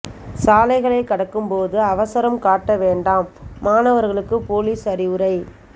சாலைகளை கடக்கும் போது அவசரம் காட்ட வேண்டாம் மாணவர்களுக்கு போலீஸ் அறிவுரை